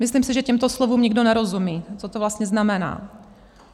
Myslím si, že těmto slovům nikdo nerozumí, co to vlastně znamená.